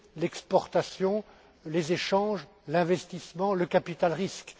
l'exportation, les échanges, l'investissement, le capital risque.